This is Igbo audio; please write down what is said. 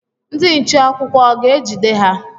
Ndị nche akwụkwọ ọ ga ejide ha?